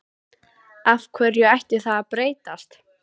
Af hverju ætti það að breytast?